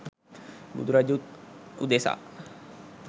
බුදුරජුන් උදෙසා